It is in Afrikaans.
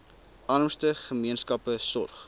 armste gemeenskappe sorg